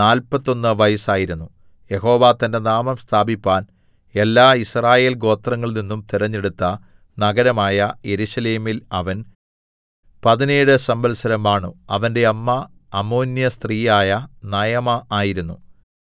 നാല്പത്തൊന്ന് വയസ്സായിരുന്നു യഹോവ തന്റെ നാമം സ്ഥാപിപ്പാൻ എല്ലാ യിസ്രായേൽ ഗോത്രങ്ങളിൽ നിന്നും തിരഞ്ഞെടുത്ത നഗരമായ യെരൂശലേമിൽ അവൻ പതിനേഴ് സംവത്സരം വാണു അവന്റെ അമ്മ അമ്മോന്യസ്ത്രീയായ നയമാ ആയിരുന്നു